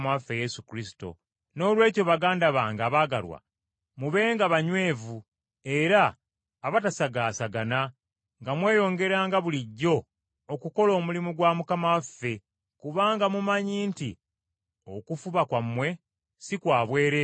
Noolwekyo, baganda bange abaagalwa, mubenga banywevu era abatasagaasagana nga mweyongeranga bulijjo okukola omulimu gwa Mukama waffe, kubanga mumanyi nti okufuba kwammwe si kwa bwereere mu Mukama waffe.